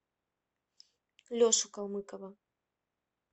лешу калмыкова